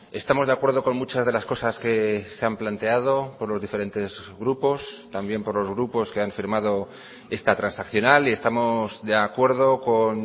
estamos de acuerdo con muchas de las cosas que se han planteado por los diferentes grupos también por los grupos que han firmado esta transaccional y estamos de acuerdo con